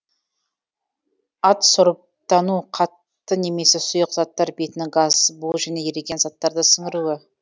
адсорбтану қатты немесе сұйық заттар бетінің газ бу және еріген заттарды сіңіруі